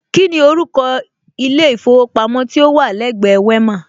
Kíni orúkọ ilé ìfowópamọ́ tí ó wà lẹ́gbẹ Wema?